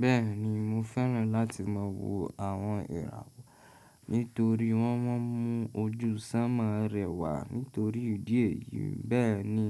Bẹ́ẹ̀ni mo fẹ́ràn láti máa wo àwọn ìràwọ̀ nítorí wọ́n ma n mu ojú sánmọ rẹwà nítorí ìdí èyí. Bẹ́ẹ̀ni